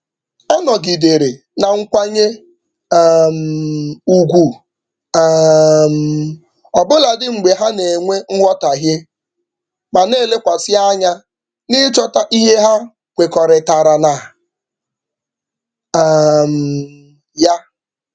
Ọ nọgidere na nkwanye um ugwu um ọbụladị mgbe ha na-enwe nghọtaghie ma na-elekwasị anya n'ịchọta ihe ha kwekọrịtara na um ya.